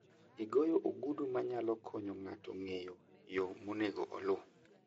Igoyo ogudu ma nyalo konyo ng'ato ng'eyo yo monego oluw.